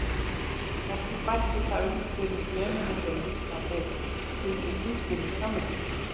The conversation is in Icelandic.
Ekki bætti það um fyrir þremenningunum hvað þeir fylgdu tískunni samviskusamlega.